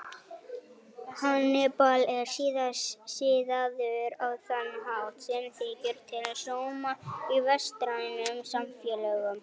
Hannibal er siðaður á þann hátt sem þykir til sóma í vestrænum samfélögum.